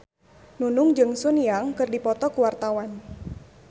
Nunung jeung Sun Yang keur dipoto ku wartawan